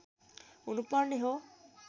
हुनुपर्ने हो